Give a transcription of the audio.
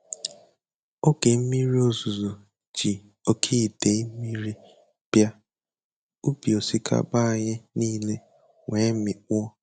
Oge mmiri ozuzo ji oke idei mmiri bịa, ubi osikapa anyị niile wee mikpuo.